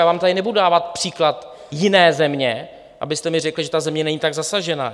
Já vám tady nebudu dávat příklad jiné země, abyste mi řekli, že ta země není tak zasažená.